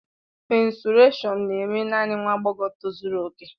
Mènsụràshọn na-eme naanị nwa agbọghọ tozuru oke